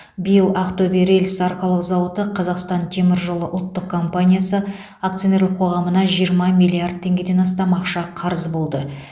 биыл ақтөбе рельс арқалық зауыты қазақстан темір жолы ұлттық компаниясы акционерлік қоғамына жиырма миллиард теңгеден астам ақша қарыз болды